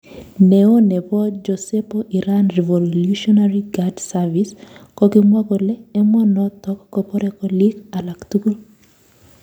Neo nepo jesepo Iran Revolutionary Guard Service kokimwa kole emonotok kopore kolik alak tugul